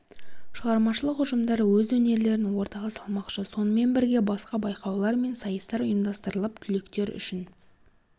шығармашылық ұжымдары өз өнерлерін ортаға салмақшы сонымен бірге басқа байқаулар мен сайыстар ұйымдастырылып түлектер үшін